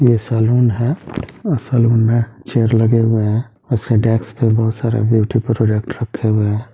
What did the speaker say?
यह सैलून है और सैलून में चेयर लगे हुए है उस डेस्क पे बहुत सारे ब्यूटी प्रोडेक्ट रखे हुए।